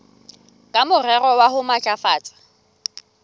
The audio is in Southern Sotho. ka morero wa ho matlafatsa